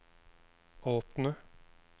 åpne